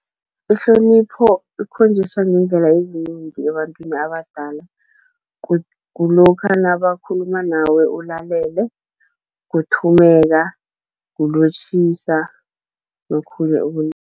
Ihlonipho ikhonjiswa ngeendlela ezinengi ebantwini abadala, kulokha nabakhuluma nawe ulalele, kuthumeka, kulotjhisa nokhunye